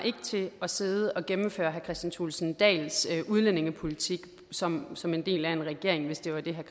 til at sidde og gennemføre herre kristian thulesen dahls udlændingepolitik som som en del af en regering hvis det var det